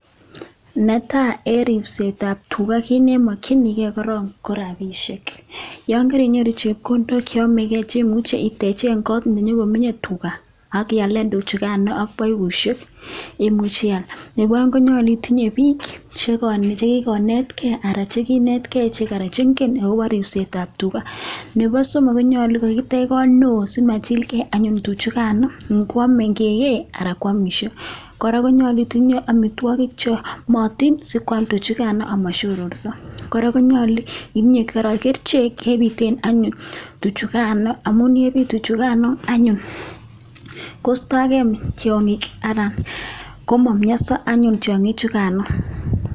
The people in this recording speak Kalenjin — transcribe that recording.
Ne tai, eng ripsetab tuga kiit nemekchinikei korom ko rapishek, yon karinyoru chepkondok che yomekei chemuche iteche kot ne nyokomenye tuga akiale tuguchukan ak paipushek muche ial. Nebo konyol itinye biik che kikonetkei anan che kinetikei akobo ripsetab tuga. Nebo somok, konyolu kokitech kot neo simachilkei anyun tuguchukano kikei anan kwamishot, nyolu itinye amitwokik che yomotin sikwam tugchukan ama sororsio. Kora, konyolu itinye kora kerichek chepiten tuchukano amun ngipitechukano anyun koisto tiongik anan komamianso tuchukano anyuun.